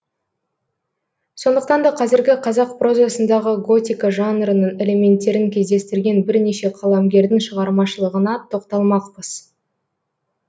сондықтан да қазіргі қазақ прозасындағы готика жанрының элементтерін кездестірген бірнеше қаламгердің шығармашылығына тоқталмақпыз